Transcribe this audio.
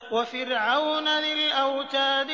وَفِرْعَوْنَ ذِي الْأَوْتَادِ